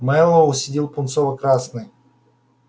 мэллоу сидел пунцово-красный